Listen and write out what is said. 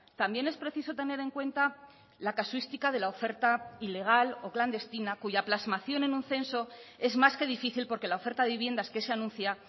también es preciso tener en cuenta la casuística de la oferta ilegal o clandestina cuya plasmación en un censo es más que difícil porque la oferta de viviendas que se anuncia